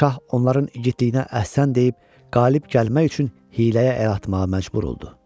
Şah onların igidliyinə əhsən deyib qalib gəlmək üçün hiyləyə əl atmağa məcbur oldu.